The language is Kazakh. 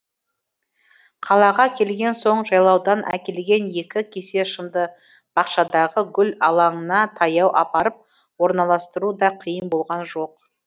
қалаға келген соң жайлаудан әкелген екі кесе шымды бақшадағы гүл алаңына таяу апарып орналастыру да қиын болған жоқ